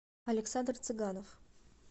александр цыганов